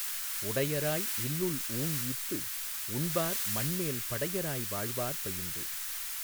உடையராய் இல்லுள் ஊண் ஈத்து, உண்பார் மண்மேல் படையராய் வாழ்வார் பயின்று